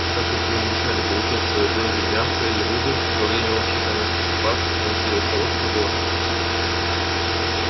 так как ему мешали получать свою долю мяса и рыбы во время общей кормёжки собак он сделался ловким вором